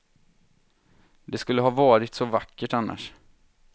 Det skulle ha varit så vackert annars.